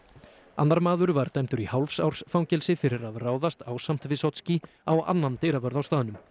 annar maður var dæmdur í hálfs árs fangelsi fyrir að ráðast ásamt á annan dyravörð á staðnum